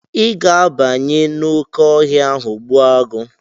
Ị ga-abanye n'oké ọhịa ahụ gbuo agụ̀!